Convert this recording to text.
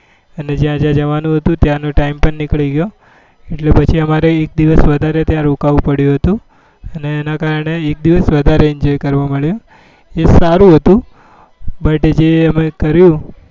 અને જ્યાં જ્યાં જવાનું હતું ત્યાં નો time પણ નીકળી ગયો એટલે પાછી અમારે એક દિવસ વધારે ત્યાં રોકાવું પડ્યું હતું અને એના કારણે એક દિવસ વધારે enjoy કરવા મળ્યું એ સારું હતું but જે અમે કર્યું